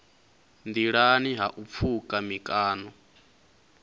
nḓilani ha u pfuka mikano